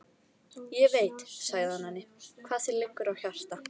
Ég veit, sagði hann henni, hvað þér liggur á hjarta